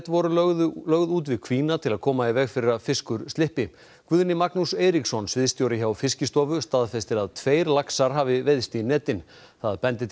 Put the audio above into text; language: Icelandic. voru lögð út lögð út við kvína til að koma í veg fyrir að fiskur slyppi Guðni Magnús Eiríksson sviðsstjóri hjá Fiskistofu staðfestir að tveir laxar hafi veiðst í netin það bendi